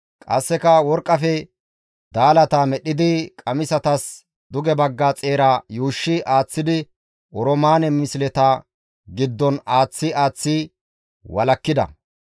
Qasseka worqqafe daalata medhdhidi qamisatas duge bagga xeera yuushshi aaththidi oroomaane misleta giddon aaththi aaththi walakkida.